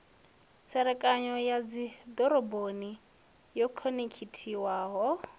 tserekano ya dzidoroboni yo khonekhithiwaho